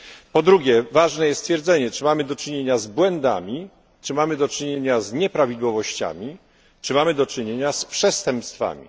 Po drugie ważne jest stwierdzenie, czy mamy do czynienia z błędami, czy mamy do czynienia z nieprawidłowościami, czy mamy do czynienia z przestępstwami.